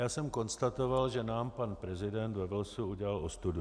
Já jsem konstatoval, že nám pan prezident ve Walesu udělal ostudu.